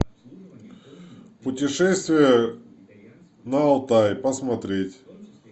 путешествие на алтай посмотреть